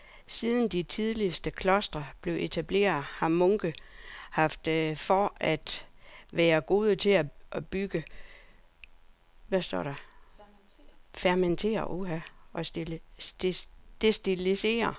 Siden de tidligste klostre blev etableret har munke haft ry for at være gode til at brygge, fermentere og destillere.